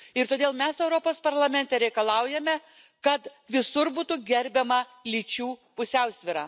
Ir todėl mes Europos Parlamente reikalaujame, kad visur būtų gerbiama lyčių pusiausvyra.